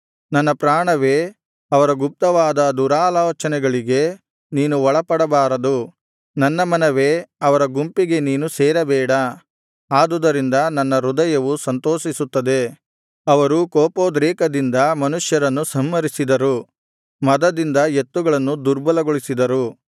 ನನ್ನ ಪ್ರಾಣವೇ ಅವರ ಗುಪ್ತವಾದ ದುರಾಲೋಚನೆಗಳಿಗೆ ನೀನು ಒಳಪಡಬಾರದು ನನ್ನ ಮನವೇ ಅವರ ಗುಂಪಿಗೆ ನೀನು ಸೇರಬೇಡ ಆದುದರಿಂದ ನನ್ನ ಹೃದಯವು ಸಂತೋಷಿಸುತ್ತದೆ ಅವರು ಕೋಪೋದ್ರೆಕದಿಂದ ಮನುಷ್ಯರನ್ನು ಸಂಹರಿಸಿದರು ಮದದಿಂದ ಎತ್ತುಗಳನ್ನು ದುರ್ಬಲಗೊಳಿಸಿದರು